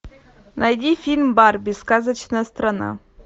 найди фильм барби сказочная страна